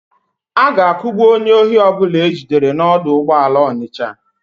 A ga-akugbu onye ohi ọbụla e jidere n'ọdụ ụgbọala Ọnịsha.